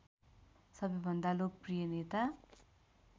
सबैभन्दा लोकप्रिय नेता